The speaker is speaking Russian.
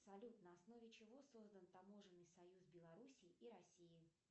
салют на основе чего создан таможенный союз белоруссии и россии